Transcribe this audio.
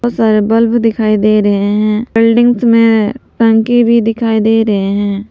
बहुत सारे बल्ब दिखाई दे रहे हैं बिल्डिंग्स में टंकी भी दिखाई दे रहे हैं।